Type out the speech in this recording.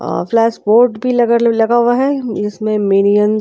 अउ plus board भी लगल लगा हुआ हैं इसमे मेरियंत--